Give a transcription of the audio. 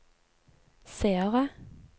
seere